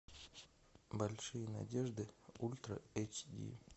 большие надежды ультра эйч ди